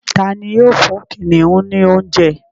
Tá ní yóò fún kìnìún ní oúnjẹ?